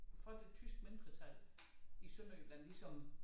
For det tyske mindretal i Sønderjylland ligesom